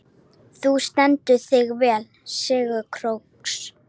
Þú stendur þig vel, Sigurósk!